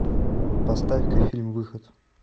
поставь ка фильм выход